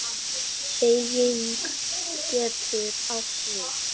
Beyging getur átt við